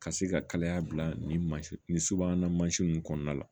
Ka se ka kalaya bila nin nin subahana mansin ninnu kɔnɔna la